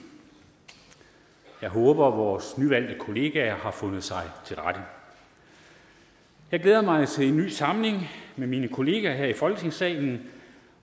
jeg håber vores nyvalgte kolleger har fundet sig til rette jeg glæder mig til en ny samling med mine kolleger her i folketingssalen